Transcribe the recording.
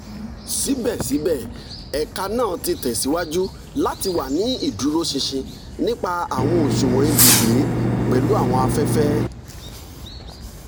sibẹsibẹ ẹka naa ti tẹsiwaju lati wa ni iduroṣinṣin nipa awọn oṣuwọn ibugbe pelu awọn afẹfẹ